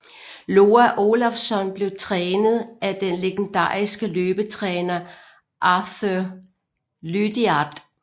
Loa Olafsson blev trænet af den legendariske løbetræner Arthur Lydiard